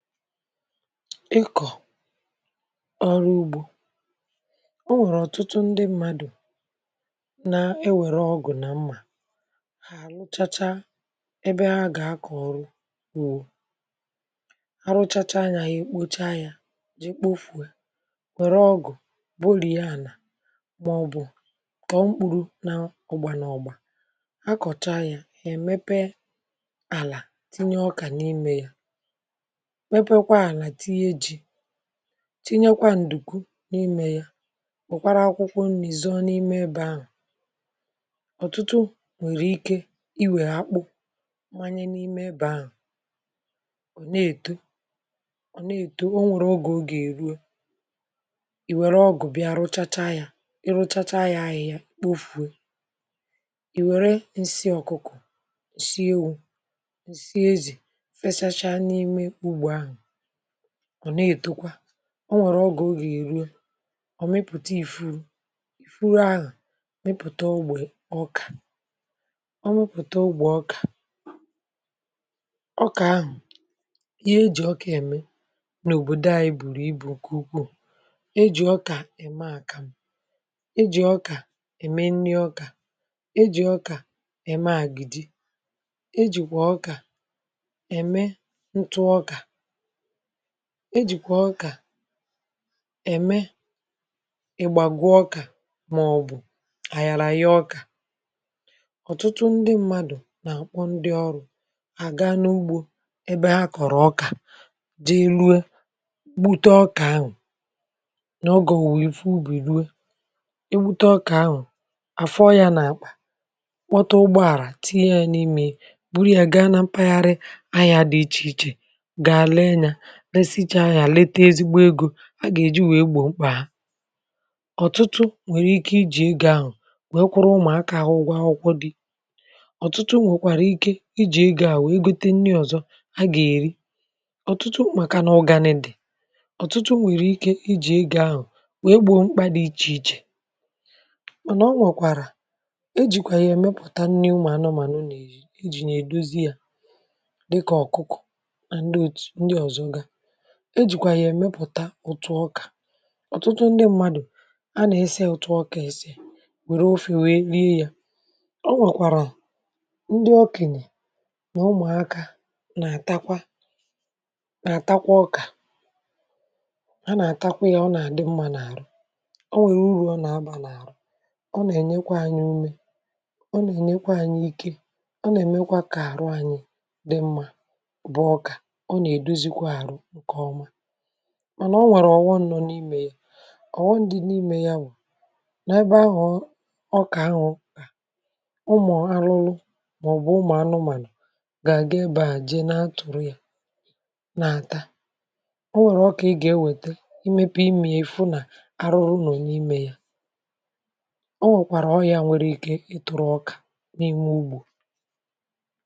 Ikọ̀ ọrụ ugbȯ. O nwèrè ọ̀tụtụ ndị mmadụ̀ na-ewere ọgụ̀ nà mmà, ha àrụchacha ebe ha agà akọ̀ ọrụ ugbo, arụchacha yȧ, ha ekpocha yȧ ji kpofù were ọgụ̀ gbụrie ana màọbụ̀ kọ̀o mkpuru na ọ̀gbà nà ọ̀gbà, akọ̀cha yȧ, èmepe àlà tinye ọkà n’imė yȧ, meekwa ala, tinye ji, tinye kwa ǹdùkwu n’imė ya, weekwara akwụkwọ nri̇ zoọ n’ime ebe ahụ̀. ọ̀tụtụ nwèrè ike iwère akpụ manye n’ime ebė ahụ̀. òne èto òne ètò o nwèrè ogè oga eruo, ìwère ọgụ̀ bịa rụchata ya i rụchata ya ahịhịa kpofùe, ìwère nsị ọ̀kụkụ, ǹsị ewu̇, ǹsị ezì fesacha n’ime ugbò ahụ̀, ọ̀ nà-ètokwa, o nwèrè ọ gà ogè èruo ọ̀ mịpụ̀ta ìfuru, ìfuru ahụ̀ mịpụ̀ta ogbè ọkà, ọ mụpụ̀ta ogbè ọkà, ọkà ahụ̀ ihe e jì ọkà ème nà òbòdo ȧ bùrù ibu̇ ụkwụ, e jì ọkà ème àkàmụ̀, e jì ọkà ème nni ọkà, e jì ọkà ème àgị̀dị, e jìkwà ọkà ème ntụ ọkà, e jìkwà ọkà ème agbagwu ọkà màọbụ̀ àgharȧgha ọkà. Ọtụtụ ndị mmadụ̀ nà-àkpọ ndị ọrụ̇ à ga n’ugbȯ ebe ha kọ̀rọ̀ ọkà jee ruo gbute ọkà ahụ̀ n’ọge òwùwè ife ubì ruo, e gbute ọkà ahụ̀, àfọ ya nà àkpà, kpọtụ ụgbọ ala tinye ya n’ime ya buru ya gaa na mpaghara ahịȧ dị ichè ichè, gáá ree ya, resicha ya lite ezigbo egȯ a gà èji wèe gbòo mkpà ha, ọ̀tụtụ nwèrè ike ijì ego ahụ̀ wèe kwụrụ ụmụ̀akȧ ahụ̇ ụgwọ akwụkwọ dị̇ ọ̀tụtụ nwèkwàrà ike ijì ego à wèe gute nni ọ̀zọ ha ga èri ọ̀tụtụ màkà nà ugani di, ọ̀tụtụ nwèrè ike ijì ego ahụ̀ wèe gbòo mkpà dị̇ ichè ichè mànà ọ nwèkwàrà ejìkwà yà ẹ̀mẹpụ̀ta nni ụmụ̀ anụmànụ nà -eri, ejì yà èdozi yȧ dịkà ọ̀kụkụ na ndị ọzọ ga, e jìkwà yà èmepụ̀ta ụtụ ọkà, ọ̀tụtụ ndị mmadụ̀ a nà-ese òtù ọkà èse wère ofė wèe rieyȧ, o nwèkwàrà ọ ndị ọkenye nà ụmụ̀akȧ nà-àtakwa nà-àtakwa ọkà, a nà-àtakwa yȧ ọ nà-àdị mmȧ n’àrụ. ọ nwèrè urù ọ nà-abà n’àrụ, ọ nà-ènyekwa anyị ume, ọ nà-ènyekwa anyị ike, ọ nà-èmekwa kà àrụ anyị dị mmȧ bụ ọkà, ọ na-edozi kwa arụ ǹkè ọma. Mànà o nwèrè ọ̀ghọm nọ̀ n’imė ya, ọ̀ghọm dị n’imė ya bù, n' ebe ahụ̀ ọkà ahụ̀ dị, ụmụ̀ arụrụ màọ̀bụ̀ ụmụ̀ anụmànụ̀ gà àgà ebeà jee na atụ̀rụ ya nà àta, ọ nwèrè ọkà ị gà ewète imėpe ime ya, ịfụ nà arụrụ nọ̀ n’imė ya, ọ nwèkwàrà ọrị̀à nwèrè ike ịtụ̀rụ̀ ọkà n’ime ugbò.